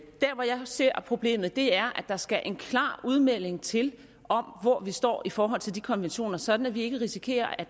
ser problemet er der skal en klar udmelding til om hvor vi står i forhold til de konventioner sådan at vi ikke risikerer at